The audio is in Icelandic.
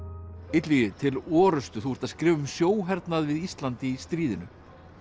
Illugi til orrustu þú ert að skrifa um við Ísland í stríðinu